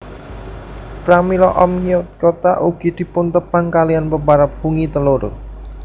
Pramila Oomycota ugi dipuntepang kaliyan peparab fungi telur